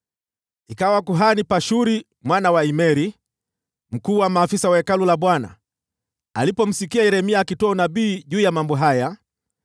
Ikawa kuhani Pashuri mwana wa Imeri, mkuu wa maafisa wa Hekalu la Bwana , alipomsikia Yeremia akitoa unabii juu ya mambo haya,